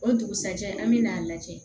O dugusajɛ an me n'a lajɛ